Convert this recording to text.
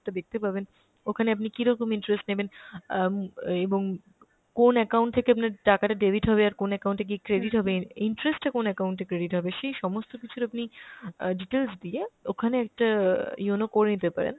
টা দেখতে পাবেন, ওখানে আপনি কীরকম interest নেবেন অ্যাঁ উম এবং কোন account থেকে আপনার টাকাটা debit হবে, আর কোন account এ গিয়ে credit হবে, interest টা কোন account এ credit হবে সেই সমস্ত কিছুর আপনি অ্যাঁ details দিয়ে ওখানে একটা অ্যাঁ yono করে নিতে পারেন।